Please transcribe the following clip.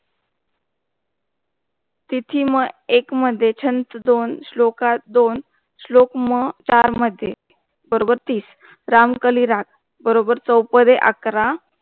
तिथी मह एक मध्ये छंत दोन श्लोकात दोन श्लोक मह चार मध्ये बरोबर तीस रामकली राग बरोबर चोपदे अकरा.